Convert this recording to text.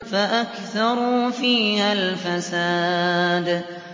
فَأَكْثَرُوا فِيهَا الْفَسَادَ